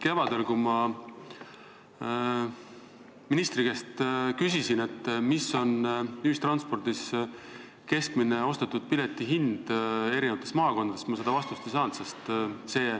Kevadel, kui ma ministri käest küsisin, mis on ühistranspordis keskmine ostetud pileti hind eri maakondades, siis ma seda vastust ei saanud.